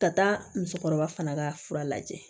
Ka taa musokɔrɔba fana ka fura lajɛ